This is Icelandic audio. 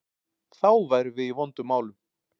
Þá værum við í vondum málum.